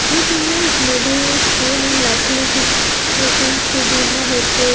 This image may be seen in likely it is seems to be in a airport.